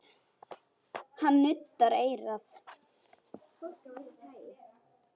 Hann nuddaði eyrað.